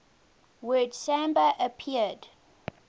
word samba appeared